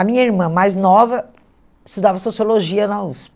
A minha irmã mais nova estudava Sociologia na